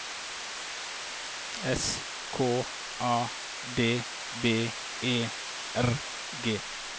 S K A D B E R G